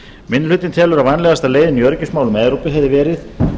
minni hlutinn telur að vænlegasta leiðin í öryggismálum evrópu hefði verið